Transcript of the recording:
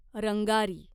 Rangari